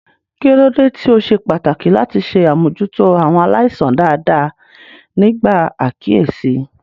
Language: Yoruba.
Kí ló dé tí ó ṣe pàtàkì láti ṣe àmójútó àwọn aláìsàn dáadáa nígbà àkíyèsí?